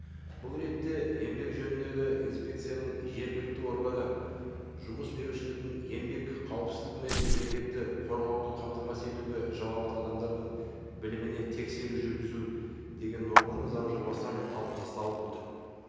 бұл ретте еңбек жөніндегі инспекцияның жергілікті органы жұмыс берушілердің еңбек қауіпсіздігі мен еңбекті қорғауды қамтамасыз етуге жауапты адамдардың біліміне тексеру жүргізу деген норманы заң жобасынан алып тасталып отыр